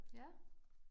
Ja